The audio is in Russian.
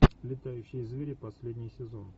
летающие звери последний сезон